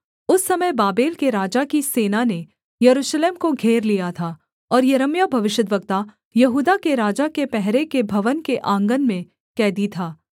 उस समय बाबेल के राजा की सेना ने यरूशलेम को घेर लिया था और यिर्मयाह भविष्यद्वक्ता यहूदा के राजा के पहरे के भवन के आँगन में कैदी था